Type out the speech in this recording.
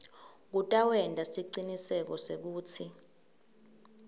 kutawenta siciniseko sekutsi